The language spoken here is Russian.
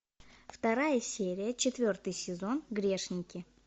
вторая серия четвертый сезон грешники